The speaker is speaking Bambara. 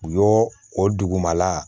U y'o o dugumala